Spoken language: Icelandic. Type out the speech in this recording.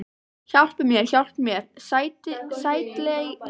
Hjálpi mér, hjálpi mér, sætlega enginn, ó vei.